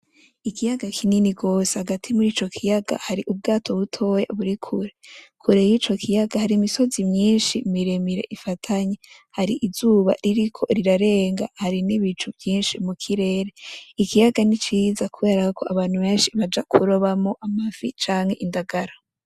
Ikiyaga kinini gose, hagati mur'ico kiyaga hari Ubwato butoya buri kure. Kure y'ico kiyaga hari imisozi myinshi miremire ifatanye .Har'izuba ririko rirarenga hari, n'ibicu vyinshi mukirere ,ikiyaga niciza kuberako abantu benshi baja kurobamwo amafi canke indangara.